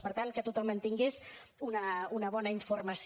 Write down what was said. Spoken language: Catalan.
per tant que tothom en tingués una bona informació